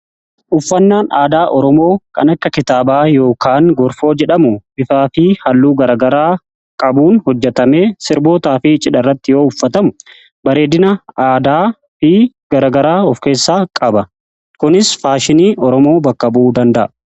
Uffannaan aadaa oromoo kan akka kitaabaa yookaan gorfoo jedhamu bifaa fi halluu garagaraa qabuun hojjetame sirbootaa fi cidha rratti yoo uffatamu bareedina aadaa fi garagaraa of keessaa qaba. kunis faashinii oromoo bakka bu'uu danda'a.